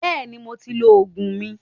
Bẹ́ẹ̀ni, mo ti lọ Ògùn mi